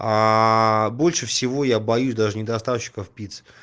аа больше всего я боюсь даже не доставщиков пиццы